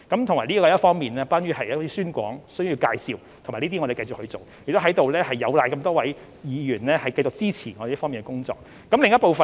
這方面涉及宣廣和介紹的工作，我們會繼續做，同時亦有賴多位議員繼續支持我們這方面的工作。